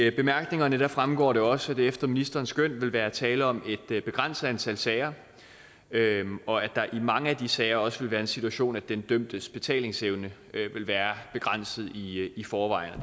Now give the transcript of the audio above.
i bemærkningerne fremgår det også at der efter ministerens skøn vil være tale om et begrænset antal sager og at der i mange af de sager også vil være den situation at den dømtes betalingsevne vil være begrænset i forvejen og